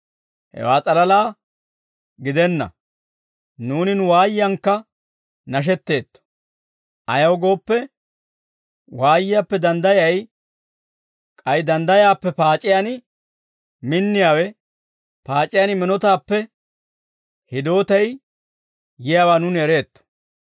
Hewaa s'alalaa gidenna; nuuni nu waayiyankka nashetteetto; ayaw gooppe, waayiyaappe danddayay, k'ay danddayaappe paac'iyaan minniyaawe, paac'iyaan minotaappe hidootay yiyaawaa nuuni ereetto.